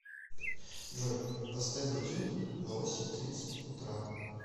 джой поставь будильник на восемь тридцать утра